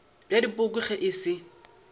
bja dipoko ge e se